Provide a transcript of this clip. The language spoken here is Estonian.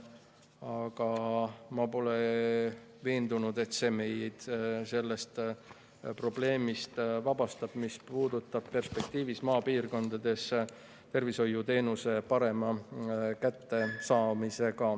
Aga ma pole veendunud, et see vabastab meid probleemist, mis puudutab perspektiivis maapiirkondades tervishoiuteenuse paremat kättesaadavust.